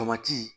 Tomati